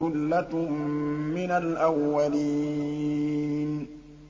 ثُلَّةٌ مِّنَ الْأَوَّلِينَ